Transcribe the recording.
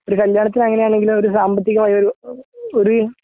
ഒരു കല്യാണത്തിനു അങ്ങനെയാണെങ്കില് ഒരു സാമ്പത്തികമായി ഒരു ഒരു